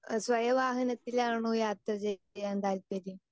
Speaker 2 സ്വയ വാഹനത്തിലാണോ യാത്ര ചെയ്യാൻ താല്പര്യം?